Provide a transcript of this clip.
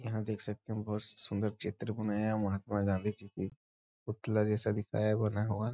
यहाँ देख सकते हैं बहुत सुंदर चित्र बनाया है महात्मा गांधी जी की पुतला जैसा दिखाया बना हुआ।